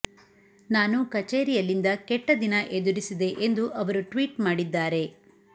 ನಾನು ಕಚೇರಿಯಲ್ಲಿಂದ ಕೆಟ್ಟ ದಿನ ಎದುರಿಸಿದೆ ಎಂದು ಅವರು ಟ್ವೀಟ್ ಮಾಡಿದ್ದಾರೆ